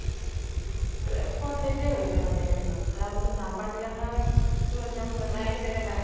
স্পে spot death য়ে হৈছে মানে এনেকুৱা আৰু একদিনতোন ডাম্পাৰবিলাকৰ টো একদম জানাই কেনেকে যায় ।